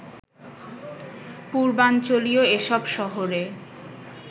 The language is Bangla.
পূর্বাঞ্চলীয় এসব শহরে